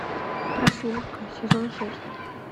прослушка сезон шесть